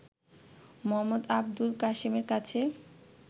মো. আবুল কাসেমের কাছে